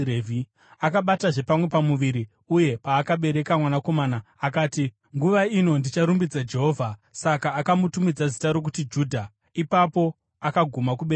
Akabatazve pamwe pamuviri uye paakabereka mwanakomana, akati, “Nguva ino ndicharumbidza Jehovha.” Saka akamutumidza zita rokuti Judha. Ipapo akaguma kubereka vana.